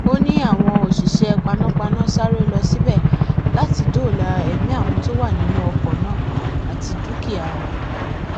ó ní àwọn òṣìṣẹ panápaná sáré lọ síbẹ láti dóòlà ẹmí àwọn tó wà nínú ọkọ náà àti dúkìá wọn